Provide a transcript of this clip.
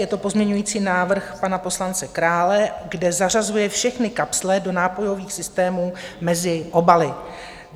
Je to pozměňující návrh pana poslance Krále, kde zařazuje všechny kapsle do nápojových systémů mezi obaly.